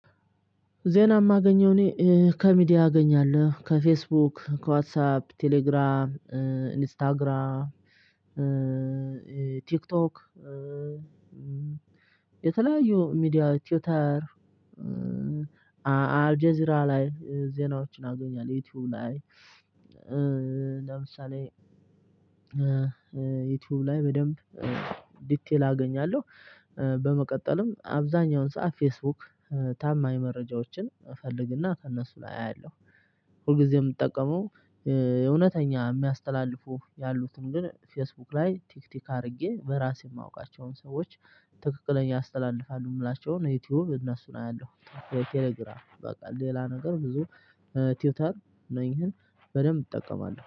ዜና እማገኝው እኔ ከ ሚዲያ አገኛለሁ ከ ፌስቡክ ከዋትሳፕ ከቴሌግራም ኢንስታግራም ቲክቶክ የተለያዩ ሚዲያ ቲውተር አልጄዚራ ላይ ዜናዎችን አገኛለሁ። ዩቲዩብ ላይ። ለምሳሌ። ዩቲዩብ ላይ በደንብ ዲቴል አገኛለሁ። በመቀጠልም አብዛኛውን ሰዓት ፌስቡክ ታማኝ መረጃዎችን እፈልግና ከእነሱ ላይ አያለሁ። ሁልጊዜም እምጠቀመው እውነተኛ እሚያስተላልፉ ያሉትን ግን ፌስቡክ ላይ ቲክቲክ አድርጌ በራሴ እማውቃቸውን ሰዎች ትክክለኛ ያስተላልፋሉ እምላቸውን ዩቲዩብ እነሱን አያለሁ። ቴሌግራም በቃ ሌላ ነገር ብዙ ቲውተር እነኝህን በደንብ እጠቀማለሁ